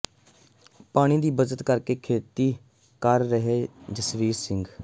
ਪਾਣੀ ਦੀ ਬੱਚਤ ਕਰ ਕੇ ਖੇਤੀ ਕਰ ਰਿਹੈ ਜਸਵੀਰ ਸਿੰਘ